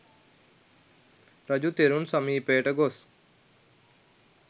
රජු තෙරුන් සමීපයට ගොස්